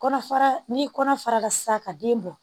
Kɔnɔfara n'i ye kɔnɔ fara sisan ka den bɔ